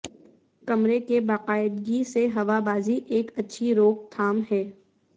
کمرے کے باقاعدگی سے ہوا بازی ایک اچھی روک تھام ہے